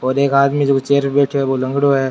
और एक आदमी जो चैयर पर बैठे है वो लंगड़ों है।